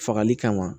Fagali kama